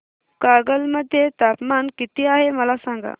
कागल मध्ये तापमान किती आहे मला सांगा